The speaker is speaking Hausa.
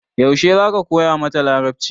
Yaushe za ka koya mata Larabci?